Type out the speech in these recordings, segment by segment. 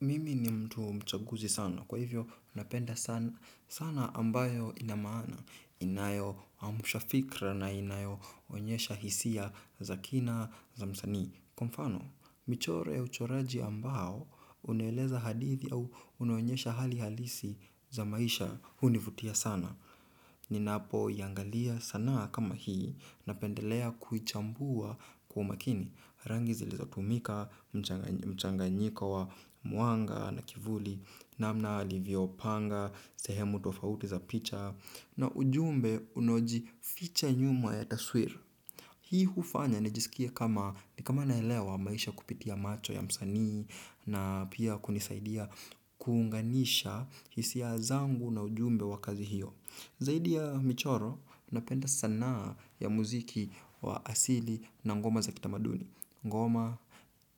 Mimi ni mtu mchaguzi sana. Kwa hivyo, napenda sana ambayo ina maana. Inayo amsha fikra na inayo onyesha hisia za kina za msani. Kwa mfano, michoro ya uchoraji ambao unaeleza hadithi au unaonyesha hali halisi za maisha hunivutia sana. Ninapo iangalia sanaa kama hii napendelea kuichambua kwa umakini. Rangi zilizo tumika, mchanganyiko wa mwanga na kivuli, namna alivyopanga, sehemu tofauti za picha, na ujumbe unaojificha nyuma ya taswira. Hii hufanya nijisikie kama ni kama naelewa maisha kupitia macho ya msanii na pia kunisaidia kuunganisha hisia zangu na ujumbe wa kazi hiyo. Zaidi ya michoro, napenda sanaa ya muziki wa asili na ngoma za kitamaduni. Ngoma,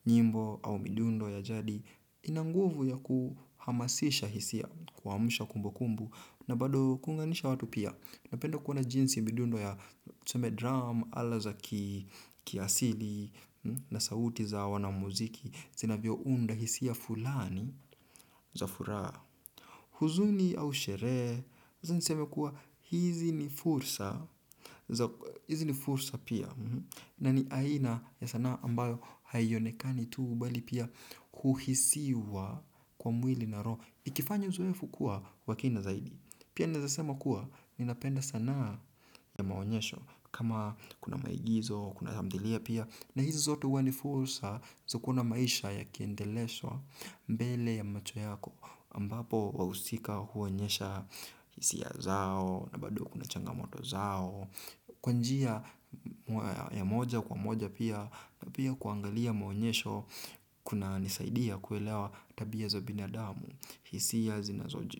nyimbo au midundo ya jadi ina nguvu ya kuhamasisha hisia kuamsha kumbukumbu na bado kuunganisha watu pia. Napenda kuona jinsi midundo ya tuseme drum ala za kiasili na sauti za wanamuziki. Zinavyo unda hisia fulani za furaha. Huzuni au sherehe, niseme kuwa hizi ni fursa pia. Na ni aina ya sanaa ambayo haionekani tuu bali pia kuhisiwa kwa mwili na roho. Ikifanya uzoefu kuwa wa kina zaidi. Pia naezasema kuwa, ninapenda sanaa ya maonyesho kama kuna maigizo, kuna tamthilia pia, na hizi zote huwa ni fursa, za kuona maisha yakiendeleshwa mbele ya macho yako, ambapo wahusika huonyesha hisia zao, na bado kuna changamoto zao, kwa njia ya moja kwa moja pia, na pia kuangalia maonyesho kuna nisaidia kuelewa tabia za binadamu, hisia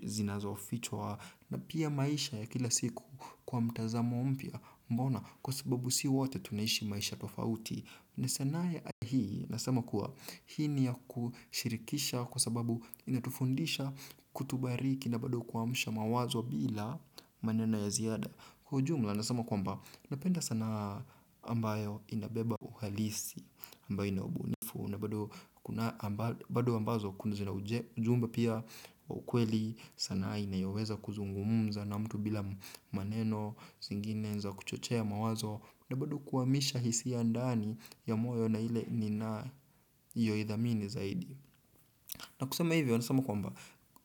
zinazofichwa, na pia maisha ya kila siku kwa mtazamo mpya mbona kwa sababu si wote tunaishi maisha tofauti. Na sanaa ya hii nasema kuwa hii ni ya kushirikisha kwa sababu inatufundisha kutubariki na bado kuamsha mawazo bila maneno ya ziada. Kwa ujumla nasema kwamba napenda sanaa ambayo inabeba uhalisi ambayo inaubunifu na bado bado ambazo knau zina ujumbe pia wa ukweli sanaa inayoweza kuzungumza na mtu bila maneno zingine za kuchochea mawazo na bado kuhamisha hisia ndani ya moyo na ile ninayoidhamini zaidi na kusema hivyo nasema kwamba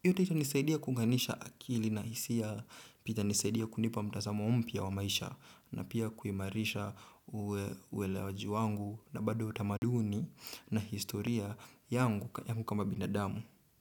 hiyo taita inisaidia kuunganisha akili na hisia pia itanisaidia kunipa mtazamo mpya wa maisha na pia kuimarisha uwelewaji wangu na bado utamaduni na historia yangu kama binadamu.